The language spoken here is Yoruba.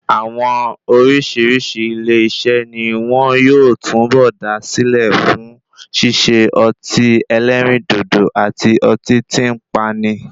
Àwọn oríṣìíríṣìí ilé iṣé ni wón yóò túnbọ̀ dá sílẹ̀ fún ṣíṣe ọtí ẹlẹ́rìndòdò àti ọtí tí ń pani.